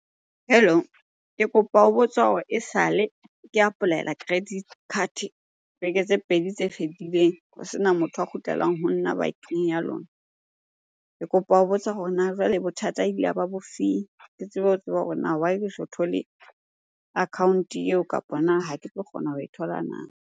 Hello. Ke kopa ho botsa hore esale ke apply-ela credit card beke tse pedi tse fetileng ho sena motho a kgutlelang ho nna bankeng ya lona. Ke kopa ho botsa hore na jwale bothata e ile ya ba bofeng? Ke tsebe ho tseba hore na why ke so thole account-e eo kapa na ha ke tlo kgona ho e thola na?